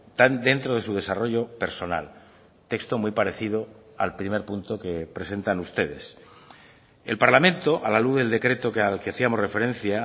tan dentro de su desarrollo personal texto muy parecido al primer punto que presentan ustedes el parlamento a la luz del decreto al que hacíamos referencia